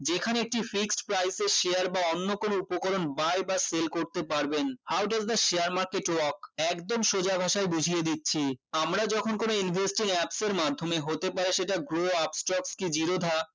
যেখানে একটি fixed price এর share বা অন্য কোনো উপকরণ buy বা sell করতে পারবেন how does the share market work একদম সোজা ভাষায় বুঝিয়ে দিচ্ছি আমরা যখন কোনো investing apps এর মাধ্যমে হতে পারে সেটা grow upstalks কি zerodha